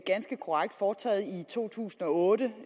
ganske korrekt foretaget i to tusind og otte